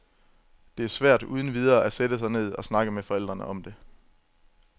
Det er for svært uden videre at sætte sig ned og snakke med forældrene om det.